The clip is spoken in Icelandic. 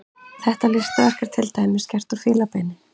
Þetta listaverk er til dæmis gert úr fílabeini.